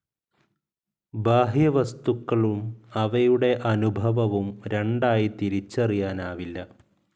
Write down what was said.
ബാഹ്യവസ്തുക്കളും അവയുടെ അനുഭവവും രണ്ടായി തിരിച്ചറിയാനാവില്ല.